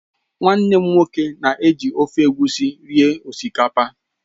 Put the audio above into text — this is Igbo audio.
Nwannem nwoke na-ji ofe Egusi eri osikapa